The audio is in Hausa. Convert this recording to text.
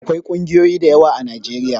Akwai ƙungiyoyi dayawa a najeriya